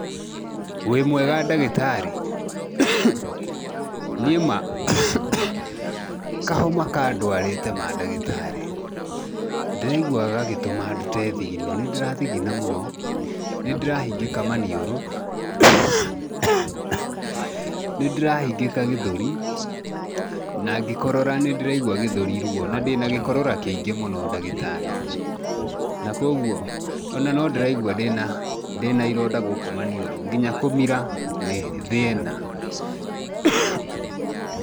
Wĩ mwega ndagĩtarĩ? Niĩ ma kahoma kandwarĩte ma ndagĩtarĩ. Ndĩraigua gagĩtũma ndute thigino, nĩ ndĩrathigina mũno, nĩ ndĩrahingĩka maniũrũ, nĩ ndĩrahingĩka gĩthũri na ngĩkorora nĩ ndĩraigua gĩthũri ruo, na ndĩna gĩkorora kĩingĩ mũno ndagitarĩ. Na kwoguo, o na no ndĩraigua ndĩna ironda gũkũ maniũrũ nginya kũmira nĩ thĩna .